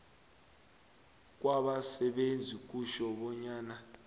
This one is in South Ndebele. kwabasebenzi kutjho bonyana